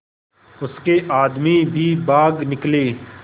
उसके आदमी भी भाग निकले